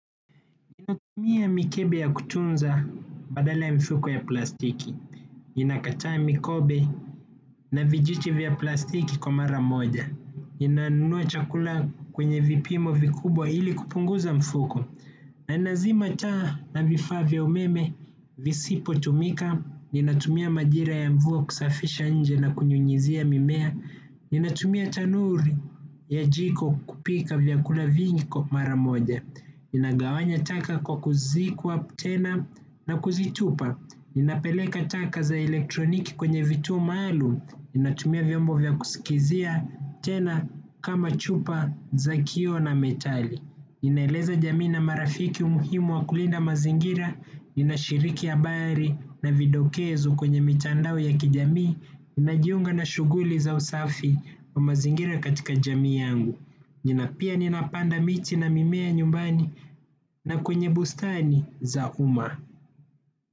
Mia mikebe ya kutunza badala ya mifuko ya plastiki. Ninakataa mikobe na vijiti vya plastiki kwa mara moja. Ninanunua chakula kwenye vipimo vikubwa ili kupunguza mfuko. Na ninazima taa na vifaa vya umeme visipo tumika. Ninatumia majira ya mvua kusafisha nje na kunyunyizia mimea. Ninatumia tanuri ya jiko kupika vyakula vingi kwa, mara moja. Nina gawanya taka kwa kuzikwa tena na kuzitupa, ninapeleka taka za elektroniki kwenye vituo maalumu, ninatumia vyombo vya kusikizia tena kama chupa za kioo na metali. Ninaeleza jamii na marafiki umuhimu wa kulinda mazingira. Nina shiriki habari na vidokezo kwenye mitandao ya kijamii. Ninajiunga na shughuli za usafi wa mazingira katika jamii yangu. Nina, pia ninapanda miche na mimea nyumbani na kwenye bustani za uma.